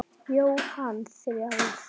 Jóhann: Þrjár?